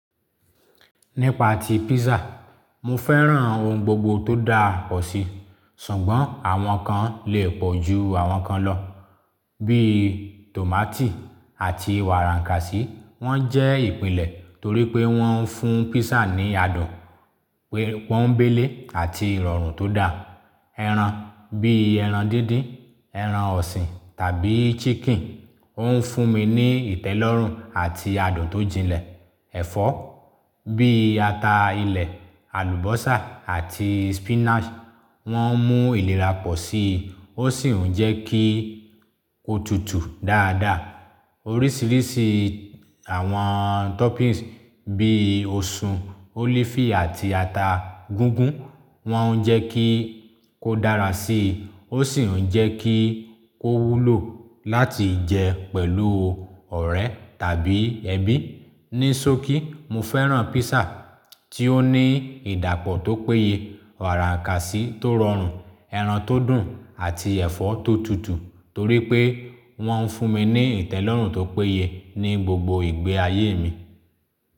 Nípa ti pizza, mo fẹ́ràn ohun gbogbo tó dà ọ́ sí, ṣùgbọ́n àwọn kan lè pọ̀ ju àwọn kan lọ. Bí i tòmátì àti wàràkàsí wọ́n jẹ́ ìpínlẹ̀ torí pé wọ́n ń fún pizza ní adùn, pé wọ́n ń béle àti ìrọ̀rùn tó dà. Ẹran bí i ẹran díndín, ẹran ọ̀sìn tàbí chicken ó ń fún mi ní ìtẹ́lọ́rùn àti adùn tó jinlẹ̀. Ẹ̀fọ́ bí i ata ilẹ̀, àlùbọ́sà àti spinach wọ́n ń mú ìlera pọ̀ sí i, ó sì ń jẹ́ kí ó tutù dáadáa. Oríṣiríṣi àwọn toppings bí i osùn, olifi àti ata gígún wọ́n ń jẹ́ kí ó dára sí i, ó sì ń jẹ́ kí ó wúlò láti jẹ pẹ̀lú ọ̀rẹ́ tàbí ẹbí. Ní sókí, mo fẹ́ràn pizza tí ó ní ìdápọ̀ tó péye, wàràkàsí tó rọrùn, ẹran tó dùn àti ẹ̀fọ́ tó tutù torí pé wọ́n ń fún mi ní ìtẹ́lọ́rùn tó péye ní gbogbo ìgbé ayé mi.